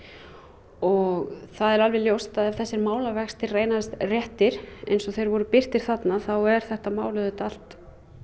og það er alveg ljóst að ef þessir málavextir reynast réttir eins og þeir voru birtir þarna þá er þetta mál auðvitað allt